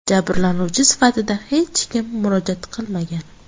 Jabrlanuvchi sifatida hech kim murojaat qilmagan.